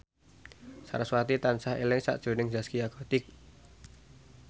sarasvati tansah eling sakjroning Zaskia Gotik